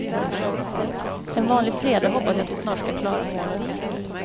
En vanlig fredag hoppas jag att vi snart ska klara målet.